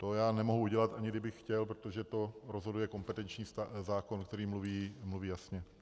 To já nemohu udělat, ani kdybych chtěl, protože to rozhoduje kompetenční zákon, který mluví jasně.